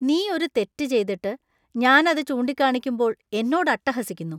നീ ഒരു തെറ്റ് ചെയ്തിട്ട് , ഞാൻ അത് ചൂണ്ടിക്കാണിക്കുമ്പോൾ എന്നോട് അട്ടഹസിക്കുന്നു .